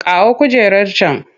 Kawo kujerar can!